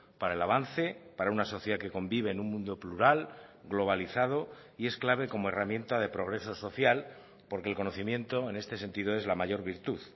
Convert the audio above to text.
para el avance para una sociedad que convive en un mundo plural globalizado y es clave como herramienta de progreso social porque el conocimiento en este sentido es la mayor virtud